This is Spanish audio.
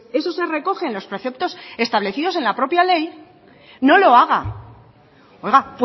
eso se recoge en los preceptos establecidos en la propia ley no lo haga oiga